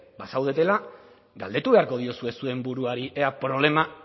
bazaudetela galdetu beharko diozue zuen buruari ea problema